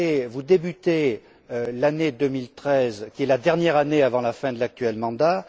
Vous débutez l'année 2013, qui est la dernière année avant la fin de l'actuel mandat.